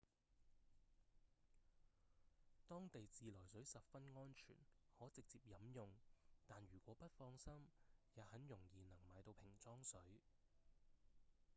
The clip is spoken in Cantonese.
當地自來水十分安全可直接飲用但如果不放心也很容易能買到瓶裝水